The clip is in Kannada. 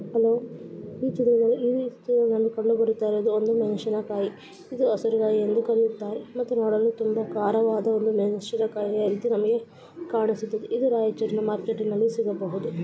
ಈ ಚಿತ್ರದಲ್ಲಿ ಕಂಡು ಬರುತ್ತಿರುವುದು ಮೆಣಸಿನಕಾಯಿ ಹೆಸರು ಎಂದು ಕರೆಯುತ್ತಾರೆ. ಇದು ನೋಡಲು ಒಂದು ತುಂಬಾ ಖಾರವಾದ ಒಂದು ಮೆಣಸಿನಕಾಯಿ. ಇದ್ರಲ್ಲಿ ಕಾಣಿಸ್ತಾ ಇದೆ ಇದು ರಾಯಚೂರು ಮಾರ್ಕೆಟ್‌ನಲ್ಲಿ ಸಿಗಬಹುದು.